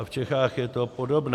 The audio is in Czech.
A v Čechách je to podobné.